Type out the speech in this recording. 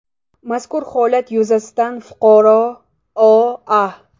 Mazkur holat yuzasidan fuqaro O.A.